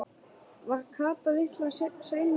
Var Kata litla sein að sofna?